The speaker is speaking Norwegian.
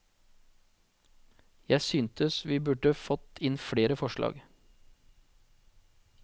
Jeg synes vi burde fått inn flere forslag.